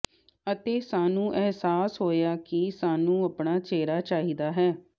ਅਤੇ ਸਾਨੂੰ ਅਹਿਸਾਸ ਹੋਇਆ ਕਿ ਸਾਨੂੰ ਆਪਣਾ ਚਿਹਰਾ ਚਾਹੀਦਾ ਹੈ